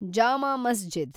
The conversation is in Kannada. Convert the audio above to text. ಜಾಮಾ ಮಸ್ಜಿದ್